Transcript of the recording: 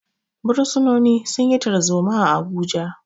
Bursunoni sun yi tarzoma a Abuja.